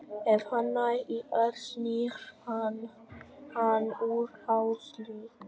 Ef hann nær í Örn snýr hann hann úr hálsliðnum.